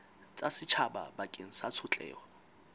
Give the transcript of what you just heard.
tsa setjhaba bakeng sa tshotleho